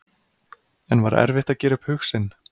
En var erfitt að gera upp hug sinn?